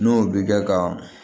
N'o bi kɛ ka